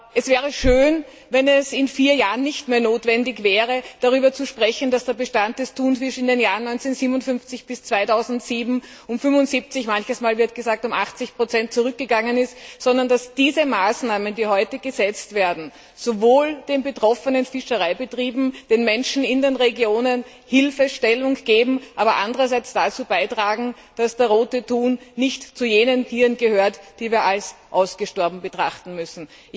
Es wäre schön, wenn es in vier Jahren nicht mehr notwendig wäre, darüber zu sprechen, dass der Bestand des Thunfisches in den Jahren 1957 bis 2007 um 75 manchmal wird gesagt um 80 zurückgegangen ist, sondern dass diese Maßnahmen, die heute gesetzt werden, einerseits den betroffenen Fischereibetrieben, den Menschen in den Regionen, Hilfestellung geben, aber andererseits auch dazu beitragen, dass der Rote Thun nicht zu jenen Tieren gehört, die wir als ausgestorben betrachten müssen.